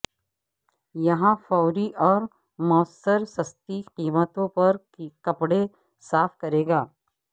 یہاں فوری اور موثر سستی قیمتوں پر کپڑے صاف کرے گا